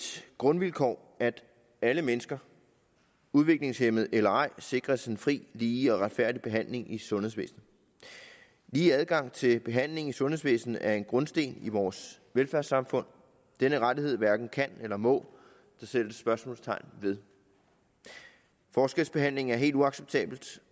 grundvilkår at alle mennesker udviklingshæmmede eller ej sikres en fri lige og retfærdig behandling i sundhedsvæsenet lige adgang til behandling i sundhedsvæsenet er en grundsten i vores velfærdssamfund og denne rettighed hverken kan eller må der sættes spørgsmålstegn ved forskelsbehandling er helt uacceptabelt